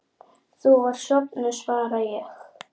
Þú varst sofnuð, svara ég.